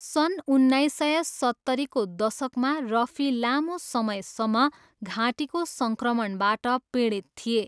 सन् उन्नाइस सय सत्तरीको दशकमा रफी लामो समयसम्म घाँटीको सङ्क्रमणबाट पीडित थिए।